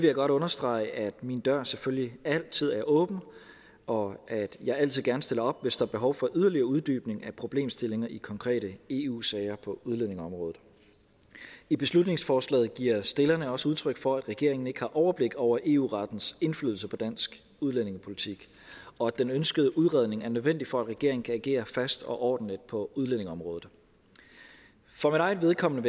jeg godt understrege at min dør selvfølgelig altid er åben og at jeg altid gerne stiller op hvis der er behov for yderligere uddybning af problemstillinger i konkrete eu sager på udlændingeområdet i beslutningsforslaget giver stillerne også udtryk for at regeringen ikke har overblik over eu rettens indflydelse på dansk udlændingepolitik og at den ønskede udredning er nødvendig for at regeringen kan agere fast og ordentligt på udlændingeområdet for mit eget vedkommende